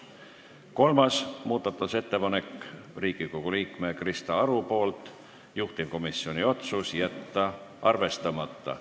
Kolmas muudatusettepanek on Riigikogu liikmelt Krista Arult, juhtivkomisjoni otsus: jätta arvestamata.